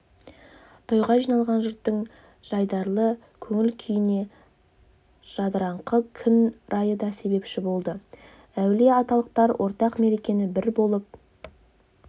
тойға жиналған жұрттың жайдарлы көңіл-күйіне жадыраңқы күн райы да себепші болды әулиеаталықтар ортақ мерекені бір болып